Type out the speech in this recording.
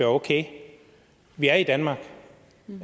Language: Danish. okay vi er i danmark